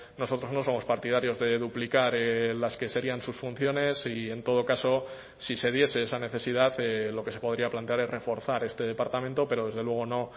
nosotros no somos partidarios de duplicar las que serían sus funciones y en todo caso si se diese esa necesidad lo que se podría plantear es reforzar este departamento pero desde luego no